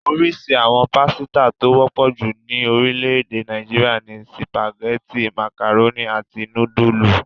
Oríṣi àwọn pásítà tó wọ́pọ̀ jù ní orílẹ̀-èdè Nàìjíríà ni sìpàgẹ́tì, màkàrónì, àti núdúlù.